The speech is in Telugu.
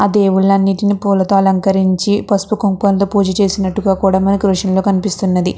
ఆ దేవుళ్ళన్నీటిని పూలతో అలంకరించి పసుపు కుంకం తో పూజ చేసినట్టుగా కూడా మనకి దృశ్యం లో కనిపిస్తుంది.